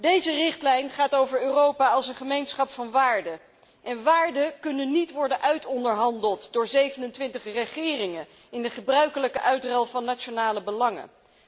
Deze richtlijn gaat over Europa als een gemeenschap van waarden, en waarden kunnen niet worden uitonderhandeld door 27 regeringen in de gebruikelijke uitruil van nationale belangen.